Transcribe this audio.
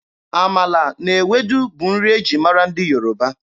Amala na Ewedu bụ nri e ji mara ndị Yoruba.